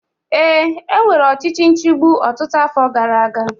Ee, e nwere ọchịchị nchigbu ọtụtụ afọ gara aga